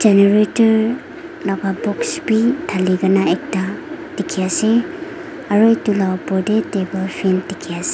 generator laga box bi dhali kena ekta dikhi ase aro itu laga opor te table fan dikhi ase.